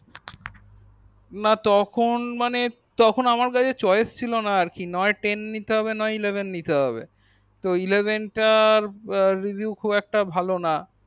না তখন মানে তখন আমার কাছে choice ছিল না আর কি না হয় ten নিতে হবে না হয় eleven নিতে হবে তো eleven তার review খুব একটা ভাল না